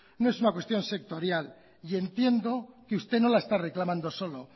no es una cuestión sectorial y entiendo que usted no la está reclamando solo